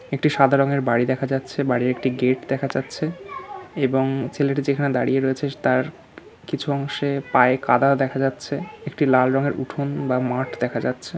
একটি সাদা রঙের বাড়ি দেখা যাচ্ছে। বাড়ির একটি গেট দেখা যাচ্ছে এবং ছেলেটি যেখানে দাঁড়িয়ে রয়েছে তার কিছু অংশে পায়ে কাঁদা দেখা যাচ্ছে। একটি লাল রঙের উঠোন বা মাঠ দেখা যাচ্ছে।